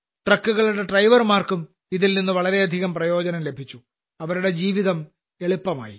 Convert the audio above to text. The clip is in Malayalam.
ട്രക്കുകളുടെ ഡ്രൈവർമാർക്കും ഇതിൽനിന്ന് വളരെയധികം പ്രയോജനം ലഭിച്ചു അവരുടെ ജീവിതം എളുപ്പമായി